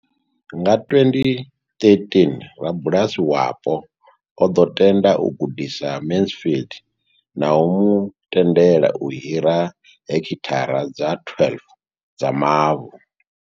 Nga 2013, rabulasi wapo o ḓo tenda u gudisa Mansfield na u mu tendela u hira hekithara dza 12 dza mavu.